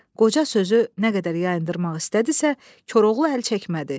Qoca sözü nə qədər yayındırmaq istədisə, Koroğlu əl çəkmədi.